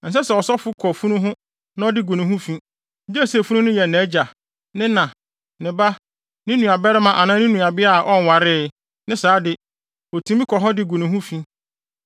“ ‘Ɛnsɛ sɛ ɔsɔfo kɔ funu ho na ɔde gu ne ho fi; gye sɛ funu no yɛ nʼagya, ne na, ne ba, ne nuabarima anaa ne nuabea a ɔnwaree; ne saa de, otumi kɔ ho de gu ne ho fi.